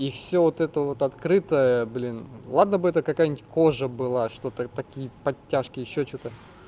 и всё вот это вот открытое блин ладно бы это какая-нибудь кожа была что-то такие подтяжки ещё что-то